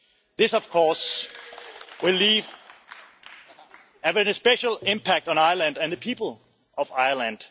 This, of course, will have a special impact on Ireland and the people of Ireland.